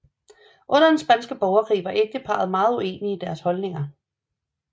Under den Spanske Borgerkrig var ægteparret meget uenige i deres holdninger